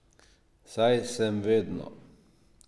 Saj sem vedno.